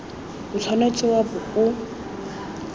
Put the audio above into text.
o tshwanetse wa bo o